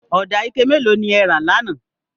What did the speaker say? Ọdà ike mẹ́lò ni ẹ̀ rà láńà?